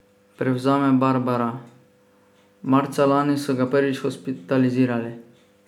Prevzame Barbara: "Marca lani so ga prvič hospitalizirali.